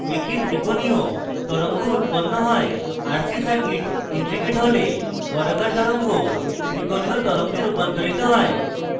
একটি ত্রিকোণীয় তরঙ্গ উৎপন্ন হয় rc সার্কিট integrated হলে বর্গাকার তরঙ্গ ত্রিকোণীয় তরঙ্গে রুপান্তরিত হয়